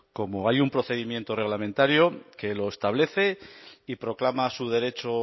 cómo hay un procedimiento reglamentario que lo establece y proclama su derecho